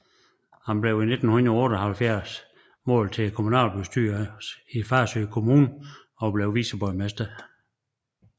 Han blev i 1978 valgt til kommunalbestyrelsen i Farsø Kommune og blev viceborgmester